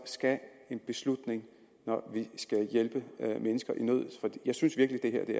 skal en beslutning når vi skal hjælpe mennesker i nød for jeg synes virkelig at det